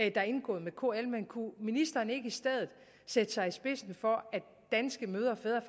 er indgået med kl men kunne ministeren ikke i stedet sætte sig i spidsen for at danske mødre og fædre